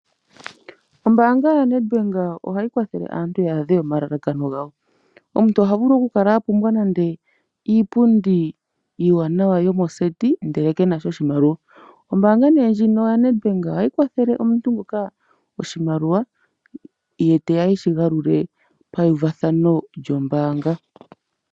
Ombaanga yoNEDBANK ohayi kwathele aantu ya adhe omalalakano gawo. Omuntu ota vulu oku kala a pumbwa iipundi iiwanawa yomoseti ndele kenasha oshimaliwa ombaanga ndjika yaNEDBANK ohayi kwathele omuntu nguka oshimaliwa ye teya eshi galule pauvathano lyombaanga.